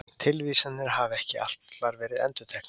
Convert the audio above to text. Tilvísanir hafa ekki allar verið endurteknar.